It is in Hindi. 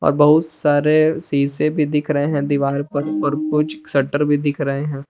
अ बहुत सारे शीशे भी दिख रहे हैं दीवार पर और कुछ शटर भी दिख रहे हैं।